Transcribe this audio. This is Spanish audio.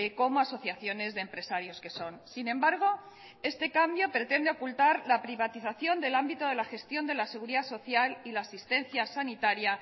como asociaciones de empresarios que son sin embargo este cambio pretende ocultar la privatización del ámbito de la gestión de la seguridad social y la asistencia sanitaria